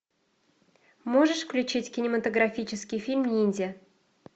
можешь включить кинематографический фильм ниндзя